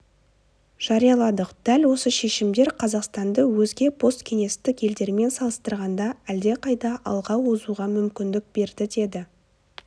жарияладық дәл осы шешімдер қазақстанды өзге посткеңестік елдермен салыстырғанда әлдеқайда алға озуға мүмкіндік берді деді